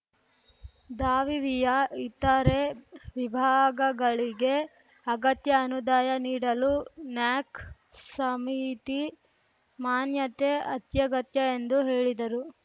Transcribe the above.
ದಾವಿವಿಯ ಇತರೆ ವಿಭಾಗಗಳಿಗೆ ಅಗತ್ಯ ಅನುದಾಯ ನೀಡಲು ನ್ಯಾಕ್‌ ಸಮಿತಿ ಮಾನ್ಯತೆ ಅತ್ಯಗತ್ಯ ಎಂದು ಹೇಳಿದರು